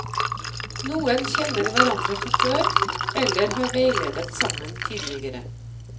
Noen kjenner hverandre fra før, eller har veiledet sammen tidligere.